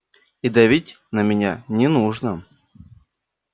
и давить на меня не нужно